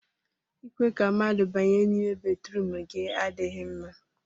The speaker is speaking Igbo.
ịkwe ka mmadụ banye n'ime batrum gị adịghị mma